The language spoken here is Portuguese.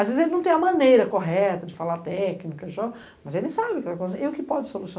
Às vezes ele não tem a maneira correta de falar técnica e tal, mas ele sabe o que pode solucionar.